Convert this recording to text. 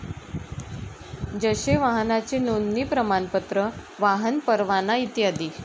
जसे वाहनाचे नोंदणी प्रमाणपत्र, वाहन परवाना इत्यादी.